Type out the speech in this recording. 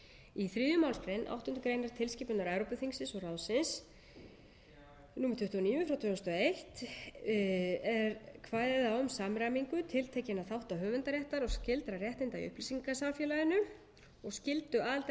í þriðju málsgrein átta grein tilskipunar evrópuþingsins og ráðsins númer tuttugu og níu tvö þúsund og eitt er kveðið á um samræmingu tiltekinna þátta höfundaréttar og skyldra réttinda í upplýsingasamfélaginu og skyldu aðildarríkjanna til